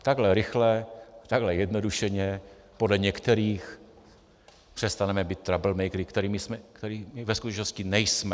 Takhle rychle, takhle zjednodušeně podle některých přestaneme být troublemakeři, kterými my ve skutečnosti nejsme.